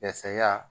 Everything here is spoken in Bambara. Yasa